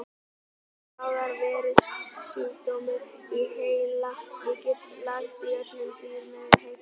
Það er bráður veirusjúkdómur í heila og getur lagst á öll dýr með heitt blóð.